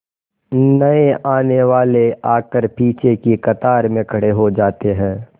नए आने वाले आकर पीछे की कतार में खड़े हो जाते हैं